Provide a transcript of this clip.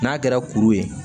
N'a kɛra kuru ye